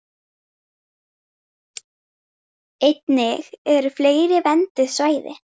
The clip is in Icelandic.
Einnig eru fleiri vernduð svæði.